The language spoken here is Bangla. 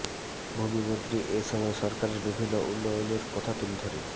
ভূমি মন্ত্রী এ সময় সরকারের বিভিন্ন উন্নয়নের কথা তুলে ধরে